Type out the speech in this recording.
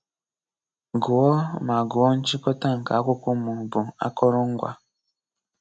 Gụọ ma gụọ nchịkọ̀tà nke akwụkwọ ma ọ bụ akụrụ̀ngwa.